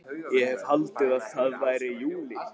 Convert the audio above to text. Ég hefði haldið að það væri júlí.